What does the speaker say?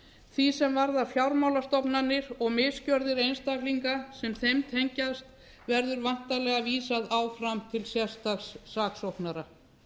því sem varðar fjármálastofnanir og misgerðir einstaklinga sem þeim tengjast verður væntanlega vísað áfram til sérstaks saksóknara